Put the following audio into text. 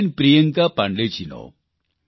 બેન પ્રિયંકા પાંડેજીનો